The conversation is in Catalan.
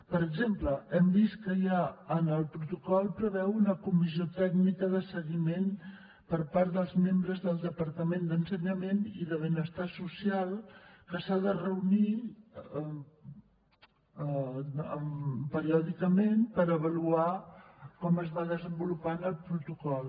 per exemple hem vist que el protocol preveu una comissió tècnica de seguiment per part dels membres dels departaments d’ensenyament i de benestar social que s’ha de reunir periòdicament per avaluar com es va desenvolupant el protocol